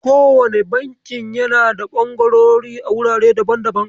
Kowane bankin yana da ɓangarori a wurare daban daban.